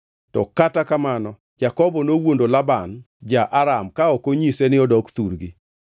To kata kamano, Jakobo nowuondo Laban ja-Aram ka ok onyise ni odok thurgi.